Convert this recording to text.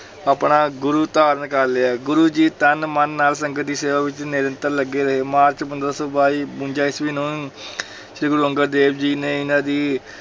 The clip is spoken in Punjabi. ਆਪਣਾ ਗੁਰੂ ਧਾਰਨ ਕਰ ਲਿਆ, ਗੁਰੂ ਜੀ ਤਨ, ਮਨ ਨਾਲ ਸੰਗਤ ਦੀ ਸੇਵਾ ਵਿੱਚ ਨਿਰੰਤਰ ਲੱਗੇ ਰਹੇ, ਮਾਰਚ ਪੰਦਰਾਂ ਸੌ ਬਾਈ ਬਵੰਜਾ ਈਸਵੀ ਨੂੰ ਸ੍ਰੀ ਗੁਰੂ ਅੰਗਦ ਦੇਵ ਜੀ ਨੇ ਇਹਨਾਂ ਦੀ